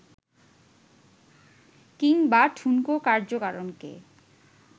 কিংবা ঠুনকো কার্যকারণকে